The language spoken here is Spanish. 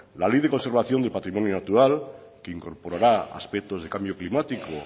la ley de conservación del patrimonio natural que incorporará aspectos de cambio climático